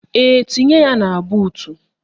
Ee, tinye ya na buutu